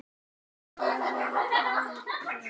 Hún lifði ríku lífi.